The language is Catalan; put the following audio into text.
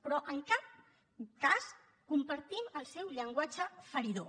però en cap cas compartim el seu llenguatge feridor